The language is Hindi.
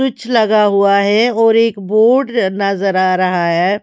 स्विच लगा हुआ हैऔर एक बोर्ड नजर आ रहा है।